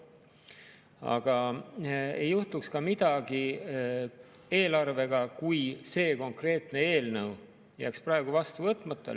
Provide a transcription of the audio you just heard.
Aga ütlen, et eelarvega ei juhtuks midagi, kui konkreetne eelnõu jääks praegu vastu võtmata.